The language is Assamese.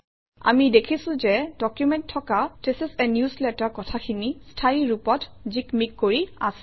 আমি দেখিছোঁ যে ডকুমেণ্টত থকা থিচ ইচ a নিউজলেটাৰ কথাখিনি স্থায়ী ৰূপত জিকমিক কৰি আছে